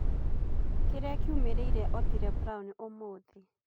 kĩrĩa kĩumĩrire otile brown ũmũthi